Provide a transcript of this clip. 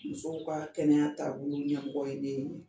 Musow ka kɛnɛya taabolo ɲɛmɔgɔ ye ne ye